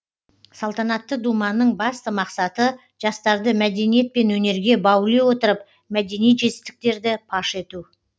салтанатты думанның басты мақсаты жастарды мәдениет пен өнерге баули отырып мәдени жетістіктерді паш ету